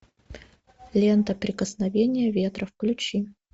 лента прикосновение ветра включи